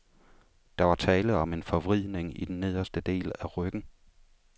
Der var tale om en forvridning i den nederste del af ryggen.